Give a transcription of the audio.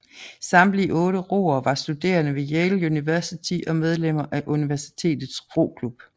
Samtlige otte roere var studerende ved Yale University og medlemmer af universitets roklub